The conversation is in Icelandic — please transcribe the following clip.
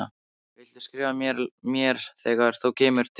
Viltu skrifa mér þegar þú kemur til